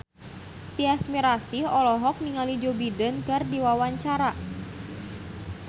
Tyas Mirasih olohok ningali Joe Biden keur diwawancara